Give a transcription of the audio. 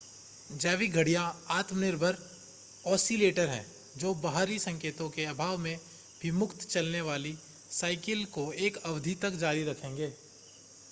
जैविक घड़ियां आत्मनिर्भर ऑसिलेटर हैं जो बाहरी संकेतों के अभाव में भी मुक्त चलने वाले साइकिल को एक अवधि तक जारी रखेंगे